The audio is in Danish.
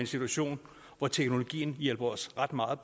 situation hvor teknologien hjælper os ret meget